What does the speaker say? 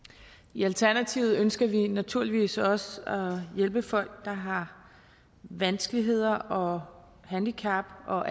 i alternativet ønsker vi naturligvis også at hjælpe folk der har vanskeligheder og handicap og